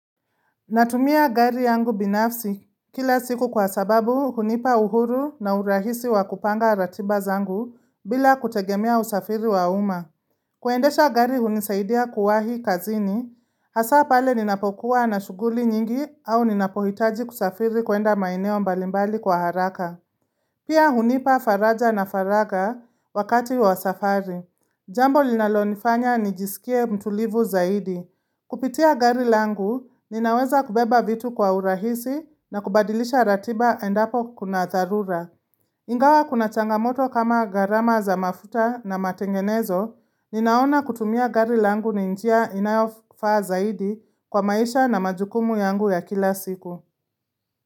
Natumia gari yangu binafsi kila siku kwa sababu hunipa uhuru na urahisi wa kupanga ratiba zangu bila kutegemea usafiri wa uma. Kuendesha gari hunisaidia kuwahi kazini, hasa pale ninapokuwa na shuguli nyingi au ninapohitaji kusafiri kuenda maeneo mbalimbali kwa haraka. Pia hunipa faraja na faraga wakati wa safari. Jambo linalonifanya nijisikie mtulivu zaidi. Kupitia gari langu ninaweza kubeba vitu kwa urahisi na kubadilisha ratiba endapo kuna dharura Ingawa kuna changamoto kama garama za mafuta na matengenezo Ninaona kutumia gari langu ni njia inayofa zaidi kwa maisha na majukumu yangu ya kila siku.